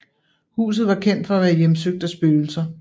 Huset var kendt for at være hjemsøgt af spøgelser